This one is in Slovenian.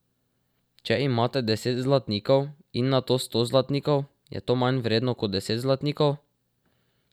Če imate deset zlatnikov in nato sto zlatnikov, je to manj vredno kot deset zlatnikov?